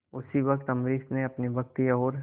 उसी वक्त अम्बरीश ने अपनी भक्ति और